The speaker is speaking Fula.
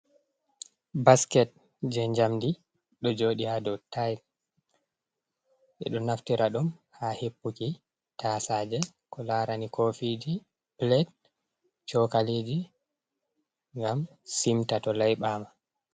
Basket je jamndi ɗo joɗi ha dow tiles ɓeɗo naftira ɗum ha hippuki tasaje, ko larani kofiji plate cokaliji ngam simta to laiɓama.